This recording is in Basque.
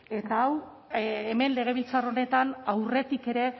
eta hau hemen legebiltzar honetan aurretik ere